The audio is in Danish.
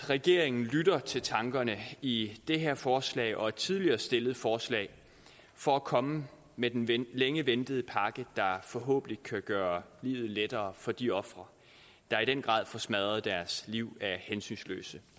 regeringen lytter til tankerne i det her forslag og et tidligere stillet forslag for at komme med den længe ventede pakke der forhåbentlig kan gøre livet lettere for de ofre der i den grad får smadret deres liv af hensynsløse